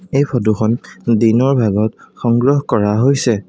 এই ফটো খন দিনৰ ভাগত সংগ্ৰহ কৰা হৈছে।